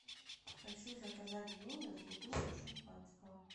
хочу заказать в номер бутылку шампанского